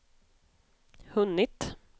hunnit